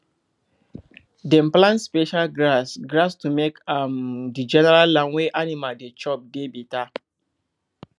dem plant special grass grass to make um the general land wey animal dey chop dey better